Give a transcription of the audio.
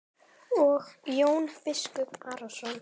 Og Jón biskup Arason.